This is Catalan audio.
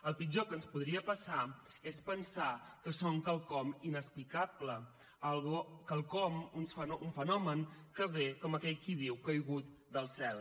el pitjor que ens podria passar és pensar que són quelcom inexplicable quelcom un fenomen que ve com aquell qui diu caigut del cel